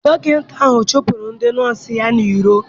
Dọkịta ahụ chụpụrụ ndị nọọsụ ya n'iro.